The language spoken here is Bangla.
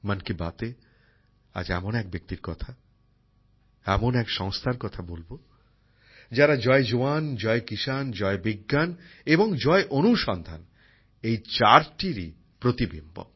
মন কি বাতে আজ এমন এক ব্যক্তির কথা এমন এক সংস্থার কথা বলব যারা জয় জওয়ান জয় কিষান জয় বিজ্ঞান এবং জয় অনুসন্ধান এই চারটিরই প্রতিফলিত